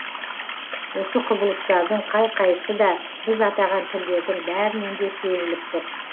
осы құбылыстардың қай қайсысы да біз атаған тілдердің бәрінен де сезіліп тұр